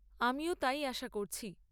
আমিও তাই আশা করছি।